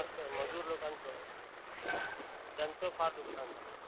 first मजूर लोकांच. त्याचं फार नुकसान झालं.